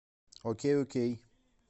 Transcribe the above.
окей окей